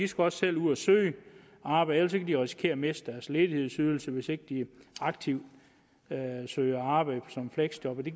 skal også selv ud og søge arbejde de kan risikere at miste deres ledighedsydelse hvis ikke de aktivt søger arbejde som fleksjobbere det